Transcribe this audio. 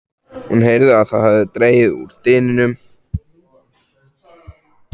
Hún heyrði að það hafði dregið úr dyninum.